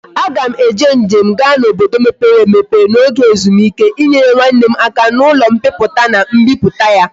A ga m eme njem ga na obodo mepere emepe na oge ezumike inyere nwanne m aka na ulo mpiputa na mbiputa ya